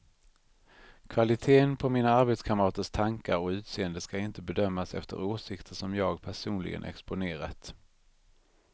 Kvaliteten på mina arbetskamraters tankar och utseende ska inte bedömas efter åsikter som jag personligen exponerat.